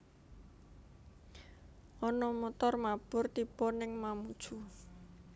Ono montor mabur tibo ning Mamuju